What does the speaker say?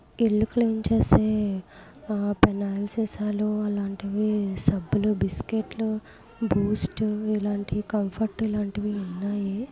ఇల్లు క్లీన్ చేసే ఆ పెనాయిల్ సీసాలు అలాంటివి సబ్బులు బిస్కెట్లు బూస్ట్ ఇలాంటి కంఫర్ట్ లాంటివి ఉన్నాయి.